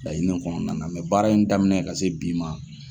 Laɲiniw kɔnɔna na mɛ baara in daminɛ ka se bi ma